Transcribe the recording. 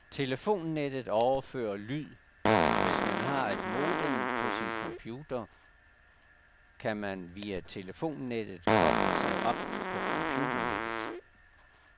Telefonnettet overfører lyd, og hvis man har et modem på sin computer, kan man via telefonnettet koble sig op på computernet.